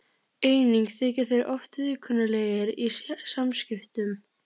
Einnig þykja þeir oft viðkunnanlegir í samskiptum.